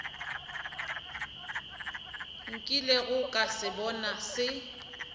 nkilego ka se bona se